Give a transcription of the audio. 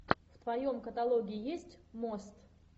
в твоем каталоге есть мост